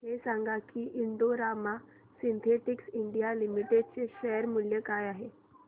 हे सांगा की Indo Rama Synthetics India Limited चे शेअर मूल्य काय आहे